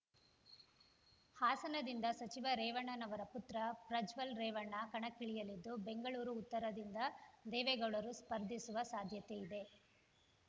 ಹಾಸನದಿಂದ ಸಚಿವ ರೇವಣ್ಣನವರ ಪುತ್ರ ಪ್ರಜ್ವಲ್ ರೇವಣ್ಣ ಕಣಕ್ಕಿಳಿಯಲಿದ್ದು ಬೆಂಗಳೂರು ಉತ್ತರದಿಂದ ದೇವೇಗೌಡರು ಸ್ಪರ್ಧಿಸುವ ಸಾಧ್ಯತೆ ಇದೆ